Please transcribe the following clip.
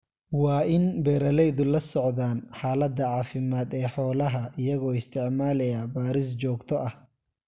Waa in beeralaydu la socdaan xaaladda caafimaad ee xoolaha iyagoo isticmaalaya baadhis joogto ah.